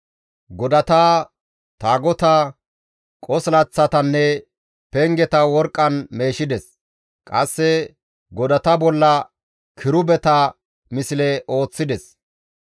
Godata, taagotata, qosilaththatanne pengeta worqqan meeshides; qasse godata bolla kirubeta misle ooththides.